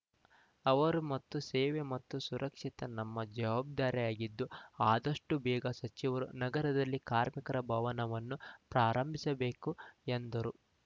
ಅವರು ಮತ್ತು ಸೇವೆ ಮತ್ತು ಸುರಕ್ಷಿತ ನಮ್ಮ ಜವಾಬ್ದಾರಿಯಾಗಿದ್ದು ಆದಷ್ಟು ಬೇಗ ಸಚಿವರು ನಗರದಲ್ಲಿ ಕಾರ್ಮಿಕರ ಭವನವನ್ನು ಪ್ರಾರಂಭಿಸಬೇಕು ಎಂದರು